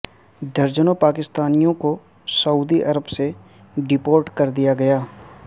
درجنوں پاکستانیوں کو سعودی عرب سے ڈی پورٹ کر دیا گیا